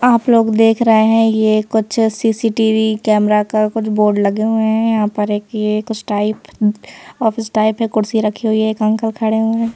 आप लोग देख रहे हैं ये कुछ सी_सी_टी_वी कैमरा का कुछ बोर्ड लगे हुए हैंयहाँ पर एक ये कुछ टाइप ऑफिस टाइप है कुर्सी रखी हुई है एक अंकल खड़े हुए हैं।